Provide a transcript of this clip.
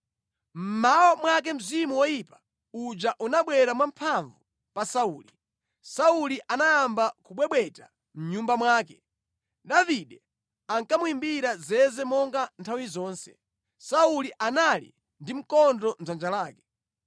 Mmawa mwake mzimu woyipa uja unabwera mwamphamvu pa Sauli. Sauli anayamba kubwebweta mʼnyumba mwake. Davide ankamuyimbira zeze monga nthawi zonse. Sauli anali ndi mkondo mʼdzanja lake.